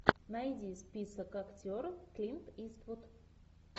найди список актеров клинт иствуд